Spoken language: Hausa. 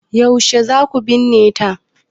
Yaushe za ku binne ta?